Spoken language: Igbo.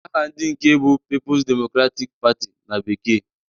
Aha ndị nke bụ Pipus Demokratik Patị na bekee.